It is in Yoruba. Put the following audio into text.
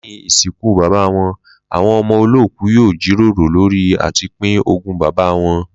Lé̩yìn ìsìnkú bàbá wo̩n, àwo̩n o̩mo̩ olóòkú yóò jíròrò lórí à ti pín ogún bàbá wo̩n